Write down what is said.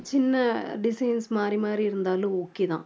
சின்ன designs மாறி மாறி இருந்தாலும் okay தான்.